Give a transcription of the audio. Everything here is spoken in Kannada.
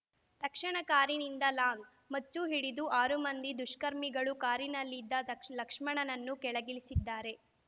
ತಕ್ಷಣ ಕಾರಿನಿಂದ ಲಾಂಗ್ ಮಚ್ಚು ಹಿಡಿದ ಆರು ಮಂದಿ ದುಷ್ಕರ್ಮಿಗಳು ಕಾರಿನಲ್ಲಿದ್ದ ತ ಲಕ್ಷ್ಮಣನನ್ನು ಕೆಳಗಿಳಿಸಿದ್ದಾರೆ